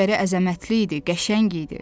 Digəri əzəmətli idi, qəşəng idi.